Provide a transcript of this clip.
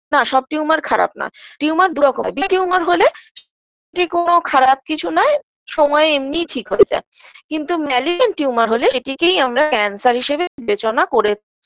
না সব tumor খারাপ নয় tumor দুরকম হয় tumor হলে এটি কোন খারাপ কিছু নয় সময়ে এমনি ঠিক হয়ে যাবে কিন্তু malignant tumor হলে সেটিকেই আমরা cancer হিসেবে বিবেচনা করে